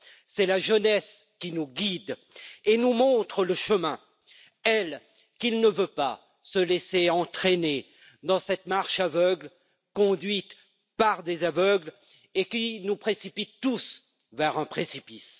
C'est la jeunesse qui nous guide et nous montre le chemin, elle qui ne veut pas se laisser entraîner dans cette marche aveugle, conduite par des aveugles et qui nous précipite tous vers un précipice.